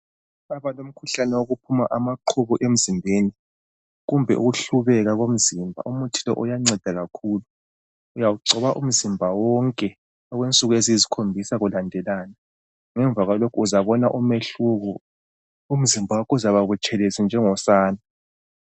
Lapha kulomkhuhlane okuphuma amaqhubu emzimbeni kumbe ukuhlubeka komzimba umuthi lowu uyanceda kakhulu. Uyawugcoba umzimba wonke okwensuku eziyisikhombisa kulandelana. Ngemuva kwalokho uzambona umehluko umzimba wakho uzakuba butshelezi njengosana.